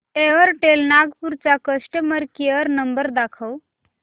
Airtel Nagpur चा customer care number दाखव